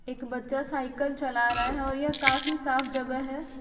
एक बच्चा साइकिल चला रहा हैं और यह काफी साफ जगह हैं।